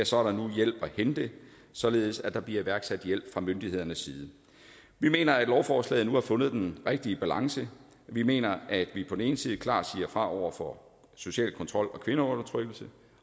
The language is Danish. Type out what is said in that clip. så er der nu hjælp at hente således at der bliver iværksat hjælp fra myndighedernes side vi mener at lovforslaget nu har fundet den rigtige balance vi mener at vi på den ene side klart siger fra over for social kontrol og kvindeundertrykkelse